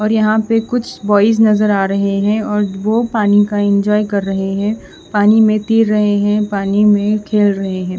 और यहां पे कुछ बॉयज नजर आ रहे हैं और वो पानी का इंजॉय कर रहे हैं पानी में तीर रहे हैं पानी में खेल रहे हैं।